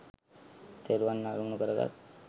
තෙරුවන් අරමුණු කරගත්